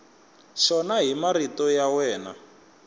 xona hi marito ya wena